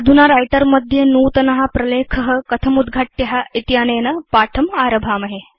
अधुना Writerमध्ये नूतन प्रलेख कथम् उद्घाट्य इत्यनेन पाठम् आरभामहे